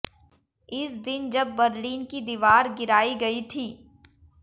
इस दिन जब बर्लिन की दीवार गिराई गई थी